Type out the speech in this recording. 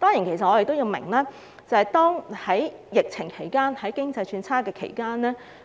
我們當然明白在疫情及經濟轉差的情況